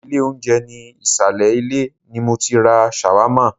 Ilé oúnjẹ ní ìsàlẹ̀ ilé ni mọ tí ra ṣàwámà.